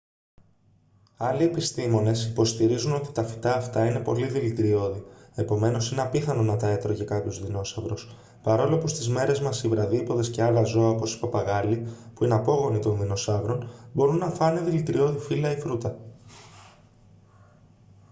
άλλοι επιστήμονες υποστηρίζουν ότι τα φυτά αυτά είναι πολύ δηλητηριώδη επομένως είναι απίθανο να τα έτρωγε κάποιος δεινόσαυρος παρόλο που στις μέρες μας οι βραδύποδες και άλλα ζώα όπως οι παπαγάλοι που είναι απόγονοι τον δεινοσαύρων μπορούν να φάνε δηλητηριώδη φύλλα ή φρούτα